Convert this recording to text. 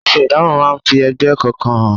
Aṣọ idamo máa ń fi ẹgbẹ́ kọ̀ọ̀kan hàn.